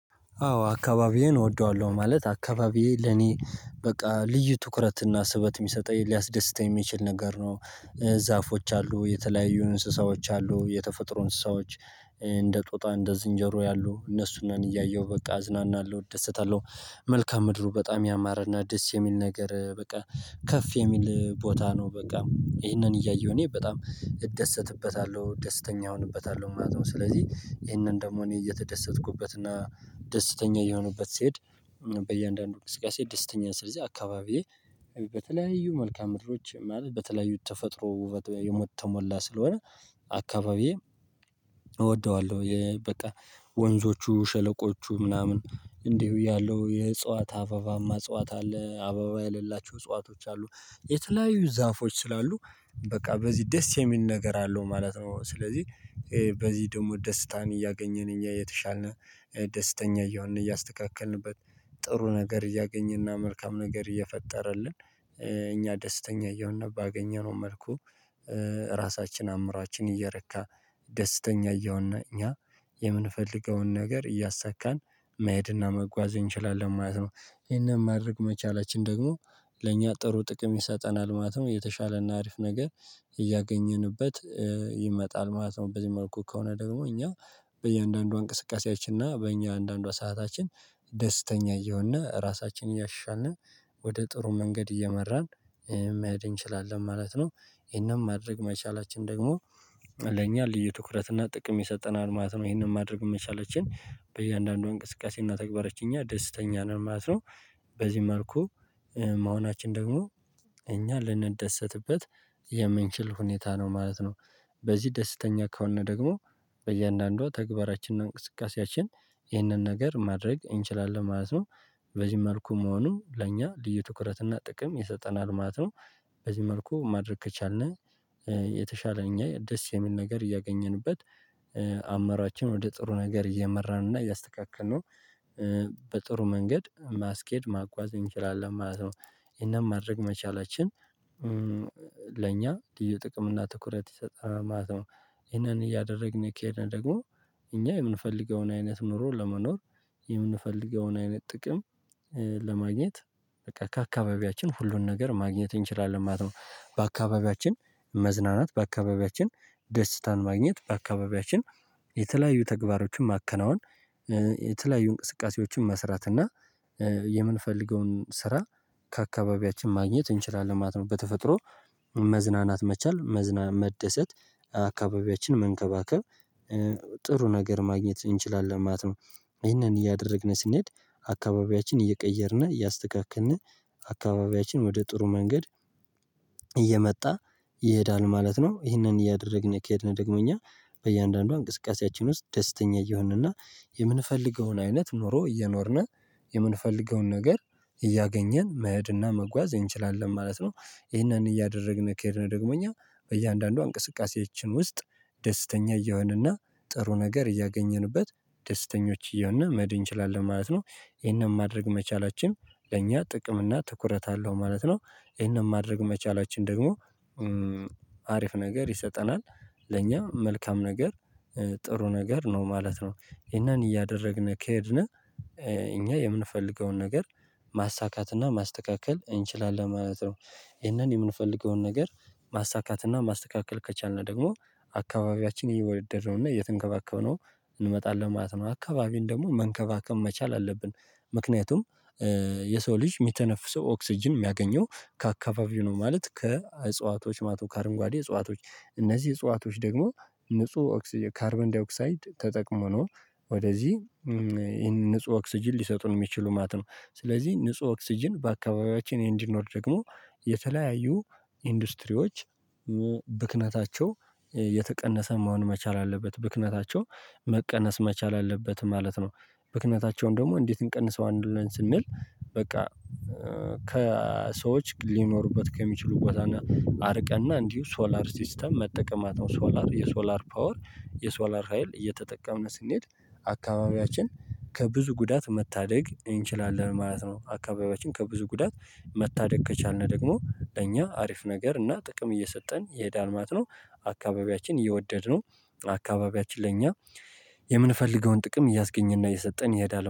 አዎ አካባቢዬን እወደዋለሁ ማለት አካባቢዬ ለኔ በቃ ልዩ ትኩረትና ስበት የሚሰጠኝ ሊያስደስተኝ የሚችል ነገር ነው። ዛፎች አሉ የተለያዩ እንስሳዎች አሉ የተፈጥሮ እንስሳዎች እንደ ጦጣ፤ እንደ ዝንጀሮ ያሉ እነሱንም እያየሁ በቃ እዝናናለሁ እደሰታለሁ መልካምድሩ በጣም ያማረና ደስ የሚል ነገር በቃ ከፍ የሚል ቦታ ነው በቃ ይሄንን እያየሁ እኔ በጣም እደሰትበታለሁ ደስተኛ እሆንበታለሁ ማለት ነው ስለዚህ ይሄንን ደግሞ እኔ የተደሰትኩበት እና ደስተኛ እየሆኑበት ሲሄድ። በእያንዳንዱ እንቅስቃሴ ደስተኛ ስለዚህ አካባቢዬ በተለያዩ መልካምድሮች ይሆናል በተለያዩ ተፈጥሮ ውበት የሞት ተሞላ ስለሆነ አካባቢዬ እወደዋለሁ። በቃ ወንዞቹ ሸለቆቹ ምናምን እንዲሁ ያለው የእጽዋት አበባማ እጽዋት አለ አበባ ያሌላቸው እጽዋቶች አሉ የተለያዩ ዛፎች ስላሉ በቃ በዚህ ደስ የሚል ነገር አለው ማለት ነው። ስለዚህ በዚህ ደግሞ ደስታን እያገኘን እኛ የተሻልን ደስተኛ እየሆንን እያስተካከልንበት ጥሩ ነገር እያገኘንና መልካም ነገር እየፈጠረልን እኛ ደስተኛ እየሆንን ባገኘነው መልኩ ራሳችን አምሯችን እየረካ ደስተኛ እየሆን እኛ የምንፈልገውን ነገር እያሳካን መሄድና መጓዝ እንችላለን ማለት ነው። ይሄንን ማድረግ መቻላችን ደግሞ ለእኛ ጥሩ ጥቅም ይሰጠናል ማለት ነው። የተሻለና አሪፍ ነገር እያገኘንበት ይመጣል ማለት ነው በዚህ መልኩ ከሆነ ደግሞ እኛ በእያንዳንዱ እንቅስቃሴያችን እና በእያንዳንዷ ሰዓታችን ደስተኛ እየሆንና ራሳችንን እያሻሻልን ወደ ጥሩ መንገድ እየመራን መሄድ እንችላለን ማለት ነው። ይሄንን ማድረግ መቻላችን ደግሞ ለእኛ ልዩ ትኩረት እና ጥቅም ይሰጠናል ማለት ነው ይሄንን ማድረግ መቻላችን በእያንዳንዱ እንቅስቃሴ እና ተግባራች እኛ ደስተኛ ነን ማለት ነው። በዚህ መልኩ መሆናችን ደግሞ እኛ ልንደሰትበት የምንችልበት ሁኔታ ነው ማለት ነው። በዚህ ደስተኛ ከሆን ደግሞ በእያንዳንዷ ተግባራችንና እንቅስቃሴያችን ይህንን ነገር ማድረግ እንችላለን ማለት ነው። በዚህ መልኩ መሆኑ ለእኛ ልዩ ትኩረት እና ጥቅም ይሰጠናል ማለት ነው። በዚህ መልኩ ማድረግ ከቻልን የተሻለ እኛ ደስ የሚል ነገር እያገኘንበት አምሯችን ወደ ጥሩ ነገር እየመራን እና እያስተካከልነው በጥሩ መንገድ ማስኬድ ማጓዝ እንችላለን ማለት ነው። ይሄንን ማድረግ መቻላችን ለእኛ ልዩ ጥቅም እና ትኩረት ይሰጠናል ማለት ነው። ይሄንን እያደረግን ከሄድን ደግሞ እኛ የምንፈልገውን አይነት ኑሮ ለመኖር የምንፈልገውን አይነት ጥቅም ለማግኘት በቃ ከአካባቢያችን ሁሉን ነገር ማግኘት እንችላለን ማለት ነው። በአካባቢያችን መዝናናት፤ በአካባቢያችን ደስታን ማግኘት፤ በአካባቢያችን የተለያዩ ተግባሮችን ማከናወን የተለያዩ እንቅስቃሴዎችን መስራት እና የምንፈልገውን ስራ ከአካባቢያችን ማግኘት እንችላለን ማለት ነው በተፈጥሮ መዝናናት መቻል መደሰት አካባቢያችን መንከባከብ ጥሩ ነገር ማግኘት እንችላለን ማለት ነው። ይሄንን እያደረግን ስንሄድ አካባቢያችን እየቀየርን እያስተካከልን አካባቢያችን ወደ ጥሩ መንገድ እየመጣ ይሄዳል ማለት ነው። ይሄንን እያደረግን ከሄድን ደግሞ እኛ በእያንዳንዱ እንቅስቃሴያችን ውስጥ ደስተኛ እየሆንንና የምንፈልገውን አይነት ኑሮ እየኖርን የምንፈልገውን ነገር እያገኘን መሄድና መጓዝ እንችላለን ማለት ነው። ይሄንን እያደረግን ከሄድን ደግሞ እኛ በእያንዳንዷ እንቅስቃሴያችን ውስጥ ደስተኛ እየሆንና ጥሩ ነገር እያገኘንበት ደስተኞች እየሆንና መሄድ እንችላለን ማለት ነው። ይሄንን ማድረግ መቻላችን ለእኛ ጥቅም እና ትኩረት አለው ማለት ነው። ይሄንን ማድረግ መቻላችን ደግሞ አሪፍ ነገር ይሰጠናል ለኛ መልካም ነገር ጥሩ ነገር ነው ማለት ነው። ይሄንን እያደረግን ከሄድን እኛ የምንፈልገውን ነገር ማሳካትና ማስተካከል እንችላለን ማለት ነው። ይህንን የምንፈልገውን ነገር ማሳካት እና ማስተካከል ከቻልን ደግሞ አካባቢያችን እየወደድነው እና እየተንከባከብነው እንመጣለን ማለት ነው። አካባቢን ደግሞ መንከባከብ መቻል አለብን። ምክንያቱም የሰው ልጅ የሚተነፍሰው ኦክስጅን የሚያገኘው ከአካባቢው ነው ማለት ከእጽዋቶች ማለት ነው ካአረንጓዴ እጽዋቶች እነዚህ እጽዋቶች ደግሞ ንጹህ ኦክሲጂን ካርበንዳይኦክሳይድ ተጠቅመው ነው። ወደዚህ ንጹህ ኦክስጅን ሊሰጡን የሚችሉ ማለት ነው። ስለዚህ ንጹህ ኦክስጅን በአካባቢያችን እንዲኖር ደግሞ የተለያዩ ኢንዱስትሪዎች ብክነታቸው የተቀነሰ መሆን መቻል አለበት ብክነታቸው መቀነስ መቻል አለበት ማለት ነው። ብክነታቸውን ደግሞ እንዴት አንቀንሰዋለን ብለን ስንል በቃ ከሰዎች ሊኖሩበት ከሚችሉ ቦታና አርቀንና እንዲሁ ሶላር ሲስተም መጠቀም ማለት ነው ሶላር የሶላር ፓወር የሶላር ሀይል እየተጠቀምን ስንሄድ አካባቢያችን ከብዙ ጉዳት መታደግ እንችላለን ማለት ነው። አካባቢያችን ከብዙ ጉዳት መታደግ ከቻልን ደግሞ ለእኛ አሪፍ ነገር እና ጥቅም እየሰጠን ይሄዳል ማለት ነው። አካባቢያችን እየወደድነው አካባቢያችን ለኛ የምንፈልገውን ጥቅም እያስገኘ እና እየሰጠን ይሄዳል